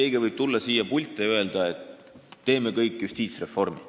Keegi võib tulla siia pulti ja öelda, et teeme justiitsreformi.